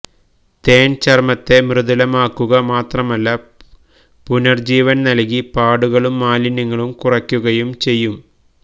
തേന് ചര്മ്മത്തെ മൃദുലമാക്കുക മാത്രമല്ല പുനര്ജീവന് നല്കി പാടുകളും മാലിന്യങ്ങളും കുറയ്ക്കുകയും ചെയ്യും